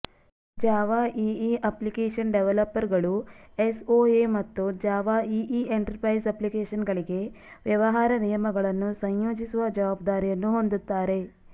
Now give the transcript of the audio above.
Java EE application ಡೆವಲಪರ್ಗಳು SOA ಮತ್ತು Java EE enterprise ಅಪ್ಲಿಕೇಷನ್ಗಳಿಗೆ ವ್ಯವಹಾರ ನಿಯಮಗಳನ್ನು ಸಂಯೋಜಿಸುವ ಜವಾಬ್ದಾರಿಯನ್ನು ಹೊಂದುತ್ತಾರೆ